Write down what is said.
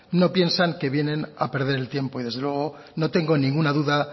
no piensan que vienen a perder el tiempo y desde luego no tengo ninguna duda